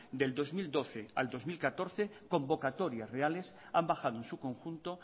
del dos mil doce al dos mil catorce convocatorias reales han bajado en su conjunto